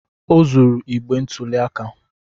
O zuru igbe ntụli aka